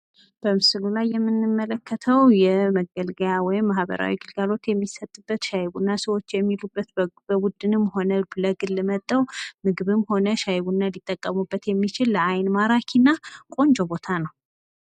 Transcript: በምስሉ ላይ የምንመለከተው የመገልገያ ወይም ማህበራዊ ግልጋሎት የሚሰጥበት ሻይ ቡና ሰወች የሚሉበት በቡድንም ሆነ ለግል መጥተው ምግብም ሆነ ሻይ ቡና ሊጠቀሙበት የሚችል ለዓይን ማራኪነ ቆንጆ ቦታ ነው።